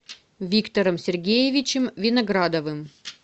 виктором сергеевичем виноградовым